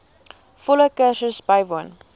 volle kursus bywoon